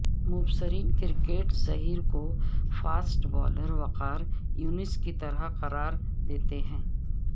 مبصرین cricket Zaheer کوفاسٹ bowler Waqar Younis کی طرح قرار دیتے ہیں